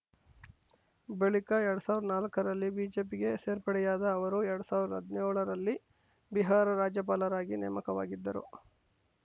ಬಳಿಕ ಎರಡ್ ಸಾವಿರ್ದಾ ನಾಲಕ್ಕರಲ್ಲಿ ಬಿಜೆಪಿಗೆ ಸೇರ್ಪಡೆಯಾದ ಅವರು ಎರಡ್ ಸಾವಿರ್ದಾ ಹದ್ನೇಳ ರಲ್ಲಿ ಬಿಹಾರ ರಾಜ್ಯಪಾಲರಾಗಿ ನೇಮಕವಾಗಿದ್ದರು